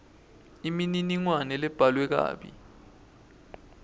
imininingwane lebhalwe kabi